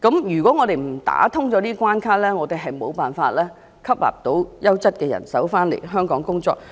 如果我們不打通這關卡，香港便無法吸納優質的人手到港工作。